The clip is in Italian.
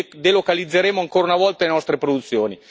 Quindi delocalizzeremo ancora una volta le nostre produzioni.